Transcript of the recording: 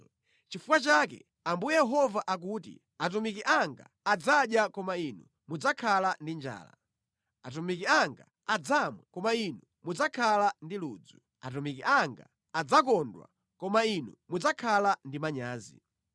Nʼchifukwa chake Ambuye Yehova akuti, “Atumiki anga adzadya, koma inu mudzakhala ndi njala; atumiki anga adzamwa, koma inu mudzakhala ndi ludzu; atumiki anga adzakondwa, koma inu mudzakhala ndi manyazi.